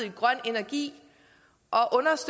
en grøn energi og